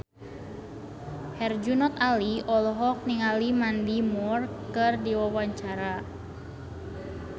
Herjunot Ali olohok ningali Mandy Moore keur diwawancara